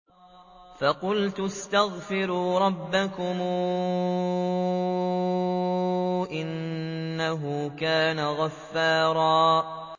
فَقُلْتُ اسْتَغْفِرُوا رَبَّكُمْ إِنَّهُ كَانَ غَفَّارًا